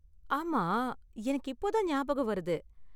ஆமா, எனக்கு இப்போ தான் ஞாபகம் வருது.